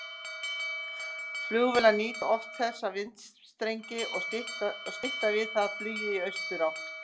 Flugvélar nýta oft þessa vindstrengi og stytta við það flugið í austurátt.